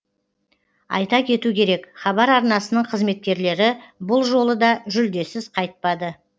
айта кету керек хабар арнасының қызметкерлері бұл жолы да жүлдесіз қайтпады